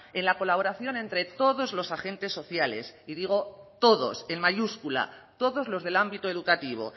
en la colaboración entre todos los agentes sociales y digo todos en mayúscula todos los del ámbito educativo